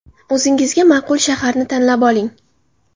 O‘zingizga ma’qul shaharni tanlab oling.